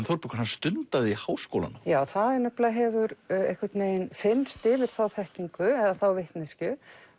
Þórbergur stundaði háskólanám það hefur einhvern veginn fyrnst yfir þá þekkingu eða þá vitneskju